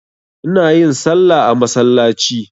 Ina yin salla a masallaci.